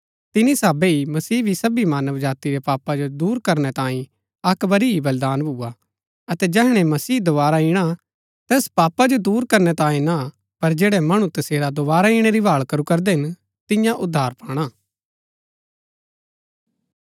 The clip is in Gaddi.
तिनी साहबै ही मसीह भी सबी मानव जाती रै पापा जो दूर करनै तांई अक्क बरी ही बलिदान भुआ अतै जैहणै मसीह दोवारा इणा तैस पापा जो दूर करनै तांये ना पर जैड़ै मणु तसेरा दोवारा इणै री भाळ करू करदै हिन तिन्या उद्धार पाणा